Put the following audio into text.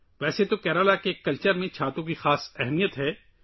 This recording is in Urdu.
دراصل، کیرالہ کی ثقافت میں چھتریوں کی خاص اہمیت ہے